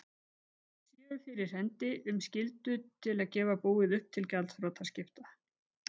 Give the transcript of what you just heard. séu fyrir hendi um skyldu til að gefa búið upp til gjaldþrotaskipta.